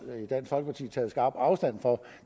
i taget skarpt afstand fra